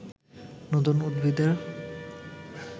নতুন উদ্ভিদের